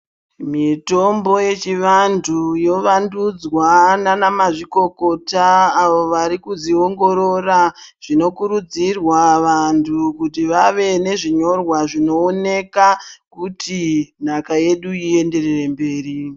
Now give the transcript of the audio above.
Mitombo yechivantu yovandudzwa nana mazvikokota avo varikuzviongorora zvinokurudzirwa vantu vave nezviyorwa zvinooneka kuti nhaka yedu iyenderere mberi.